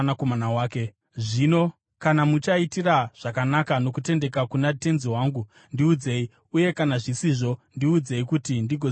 Zvino kana muchaitira zvakanaka nokutendeka kuna tenzi wangu, ndiudzei; uye kana zvisizvo, ndiudzei, kuti ndigoziva kwokuenda.”